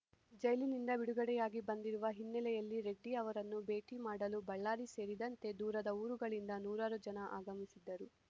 ಜೈಲಿನಿಂದ ಬಿಡುಗಡೆಯಾಗಿ ಬಂದಿರುವ ಹಿನ್ನೆಲೆಯಲ್ಲಿ ರೆಡ್ಡಿ ಅವರನ್ನು ಭೇಟಿ ಮಾಡಲು ಬಳ್ಳಾರಿ ಸೇರಿದಂತೆ ದೂರದ ಊರುಗಳಿಂದ ನೂರಾರು ಜನ ಆಗಮಿಸಿದ್ದರು